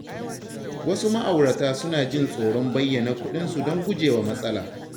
Wasu ma’aurata suna jin tsoron bayyana kuɗin su don gujewa matsala.